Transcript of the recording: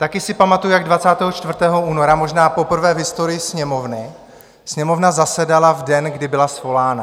Taky si pamatuji, jak 24. února, možná poprvé v historii Sněmovny, Sněmovna zasedala v den, kdy byla svolána.